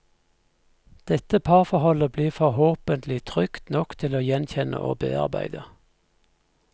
Dette parforholdet blir forhåpentlig trygt nok til å gjenkjenne og bearbeide.